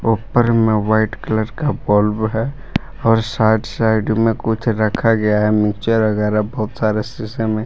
ऊपर में white colour का बल्ब है और साइड साइड में कुछ रखा गया है वगैरह बहुत सारे शीशे में।